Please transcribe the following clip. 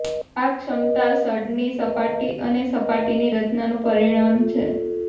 આ ક્ષમતા સઢની સપાટી અને સાટીની રચનાનું પરિણામ છે